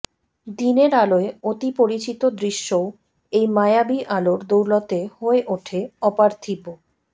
দিনের আলোয় অতি পরিচিত দৃশ্যও এই মায়াবী আলোর দৌলতে হয়ে ওঠে অপার্থিব